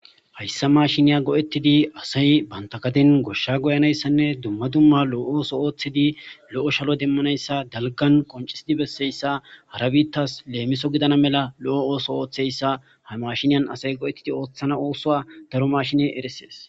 hayssa mashiniya go7ettidi asay banta kaden goshsha goyanayssanne dumma dumma lo7ooso ooththidi lo7o shalo demmanayssa dalgan qoncisidi besseyssa harabittas leemiso gidana mela lo7o ooso ooththeyssa ha mashiniyan asay go7ettidi ooththana oosoa daro mashine eresees